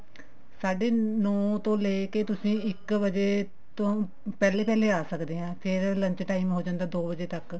ਸਾਢੇ ਨੋ ਤੋਂ ਲੈਕੇ ਤੁਸੀਂ ਇੱਕ ਵਜੇ ਤੋਂ ਪਹਿਲੇ ਪਹਿਲੇ ਆ ਸਕਦੇ ਹਾਂ ਫ਼ੇਰ lunch time ਹ ਜਾਂਦਾ ਦੋ ਵਜੇ ਤੱਕ